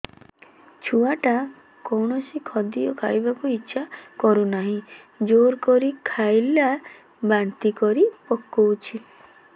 ଛୁଆ ଟା କୌଣସି ଖଦୀୟ ଖାଇବାକୁ ଈଛା କରୁନାହିଁ ଜୋର କରି ଖାଇଲା ବାନ୍ତି କରି ପକଉଛି